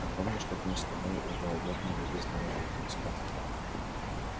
а помнишь как мы с тобой в голубятню вывезли на букинском